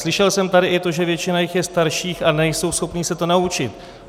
Slyšel jsem tady i to, že většina jich je starších a nejsou schopni se to naučit.